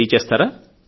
తెలియచేస్తారా